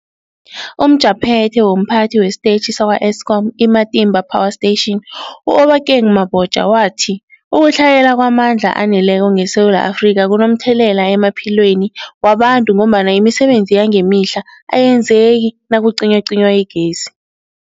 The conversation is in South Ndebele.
UmJaphethe womPhathi wesiTetjhi sakwa-Eskom i-Matimba Power Station u-Obakeng Mabotja wathi ukutlhayela kwamandla aneleko ngeSewula Afrika kunomthelela emaphilweni wabantu ngombana imisebenzi yangemihla ayenzeki nakucinywacinywa igezi.